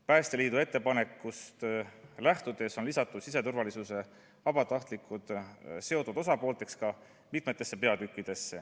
Päästeliidu ettepanekust lähtudes on siseturvalisuse vabatahtlikud lisatud seotud osapoolteks mitmesse peatükki.